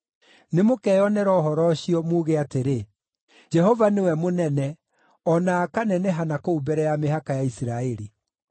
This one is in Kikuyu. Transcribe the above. Nĩmũkeyonera ũhoro ũcio, muuge atĩrĩ, ‘Jehova nĩwe mũnene, o na akaneneha na kũu mbere ya mĩhaka ya Isiraeli!’ ”